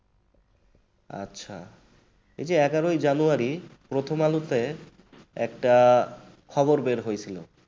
আচ্ছা এই যে এগারোই january প্রথম আলোতে একটা খবর বের হয়েছিল